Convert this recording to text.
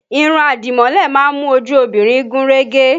Irun àdìmọ́lẹ̀ má ń mú ojú obìnrin gún régé